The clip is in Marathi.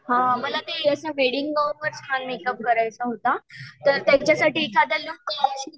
हां मला ते असे वेडिंग गाऊनवर छान मेकअप करायचा होता. तर त्याच्यासाठी एखादा लूक